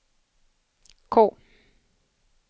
K